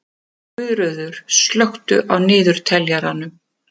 Guðröður, slökktu á niðurteljaranum.